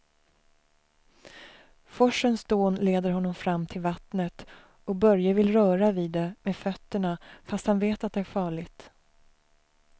Forsens dån leder honom fram till vattnet och Börje vill röra vid det med fötterna, fast han vet att det är farligt.